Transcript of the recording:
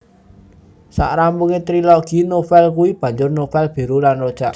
Sak rampunge trilogi novel kui banjur novel Biru lan Rojak